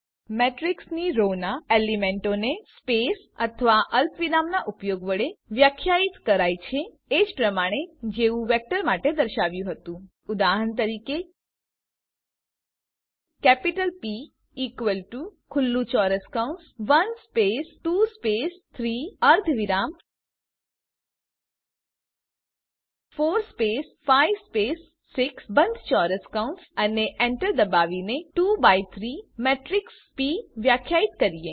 મેટ્રીક્સની row ના એલીમેન્ટોને space અથવા અલ્પવિરામનાં ઉપયોગ વડે વ્યખ્યાયિત કરાય છે એજ પ્રમાણે જેવું વેક્ટર માટે દર્શાવાયું હતું ઉદાહરણ તરીકે કેપિટલ પ ઇકવલ ટુ ખુલ્લું ચોરસ કૌંસ 1 સ્પેસ 2 સ્પેસ 3 અર્ધવિરામ 4 સ્પેસ 5 સ્પેસ 6 બંધ ચોરસ કૌંસ અને enter દબાવીને 2 બાય 3 મેટ્રીક્સ પ વ્યાખ્યાયિત કરીએ